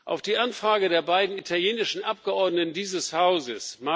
Auf die Anfrage der beiden italienischen Abgeordneten dieses Hauses